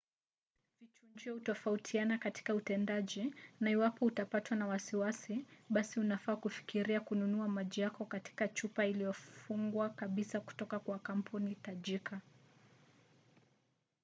vichujio hutofautiana katika utendaji na iwapo utapatwa na wasiwasi basi unafaa kufikiria kununua maji yako katika chupa iliyofungwa kabisa kutoka kwa kampuni tajika